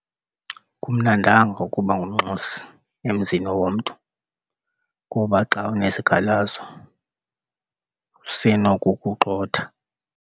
Akumnandanga ukuba ngumnxusi emzini womntu kuba xa unezikhalazo usenokukugxotha.